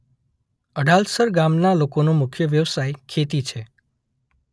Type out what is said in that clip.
અડાલસર ગામના લોકોનો મુખ્ય વ્યવસાય ખેતી છે.